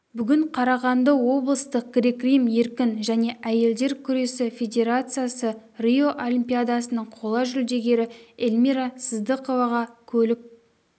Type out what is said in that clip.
бүгін қарағанды облыстық грек-рим еркін және әйелдер күресі федерациясы рио олимпиадасының қола жүлдегері эльмира сыздықоваға көлік